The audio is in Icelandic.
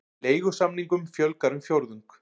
Leigusamningum fjölgar um fjórðung